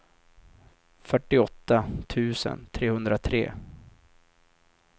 fyrtioåtta tusen trehundratre